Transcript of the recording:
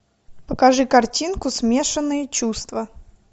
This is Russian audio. покажи картинку смешанные чувства